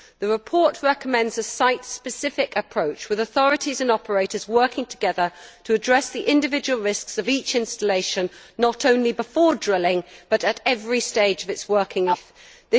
The report recommends a site specific approach, with authorities and operators working together to address the individual risks of each installation, not only before drilling but at every stage of its working life.